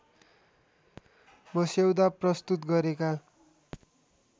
मस्यौदा प्रस्तुत गरेका